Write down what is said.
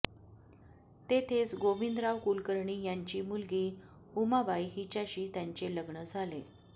तेथेच गोविंदराव कुलकर्णी यांची मुलगी उमाबाई हिच्याशी त्यांचे लग्न झाले